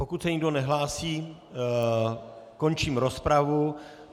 Pokud se nikdo nehlásí, končím rozpravu.